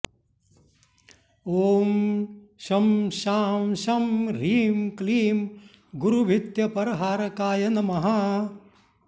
ॐ शं शां षं ह्रीं क्लीं गुरुभीत्यपरहारकाय नमः